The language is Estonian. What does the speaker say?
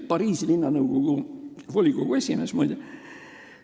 Pariisi linnanõukogu volikogu liige, muide.